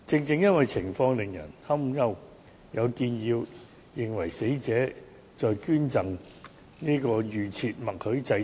正因為情況使人擔憂，有人建議應為死者器官捐贈設立預設默許制度。